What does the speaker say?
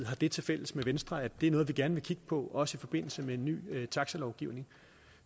har det tilfælles med venstre at det er noget vi gerne vil kigge på også i forbindelse med en ny taxalovgivning